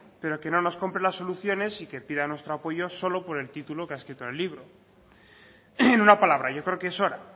pero que no nos compre las soluciones y que pida nuestro apoyo por el título que ha escrito el libro en una palabra yo creo que es hora